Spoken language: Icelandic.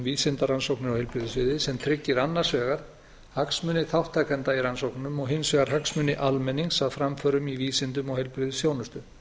á heilbrigðissviði sem tryggir annars vegar hagsmuni þátttakenda í rannsóknum og hins var hagsmuni almennings að framförum í vísindum og heilbrigðisþjónustu